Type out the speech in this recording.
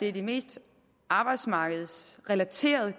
er de mest arbejdsmarkedsrelaterede